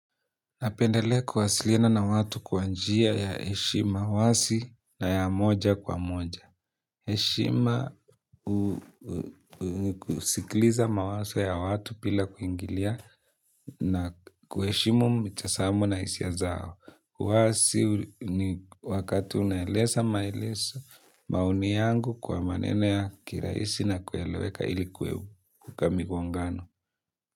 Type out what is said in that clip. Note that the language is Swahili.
Napendelea kuwasilina na watu kwa njia ya heshima wazi na ya moja kwa moja. Heshima kusikliza mawazo ya watu bila kuingilia na kuheshimu mitazamo na hisia zao. Uwazi ni wakati unaeleza maelezo, maoni yangu kwa maneno ya kirahisi na kueleweka ili kuwe, ka migongano.